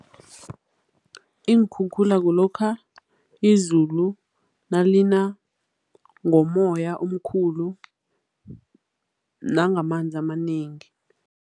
Iinkhukhula kulokha izulu nalina ngomoya omkhulu nangamanzi amanengi.